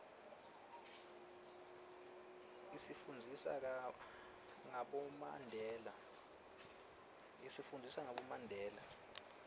isifundzisa ngabomandela